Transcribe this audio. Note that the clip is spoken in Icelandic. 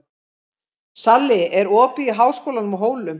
Salli, er opið í Háskólanum á Hólum?